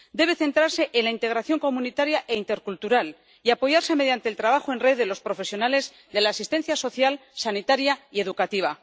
Debe centrarse en la integración comunitaria e intercultural y apoyarse mediante el trabajo en red de los profesionales de la asistencia social, sanitaria y educativa.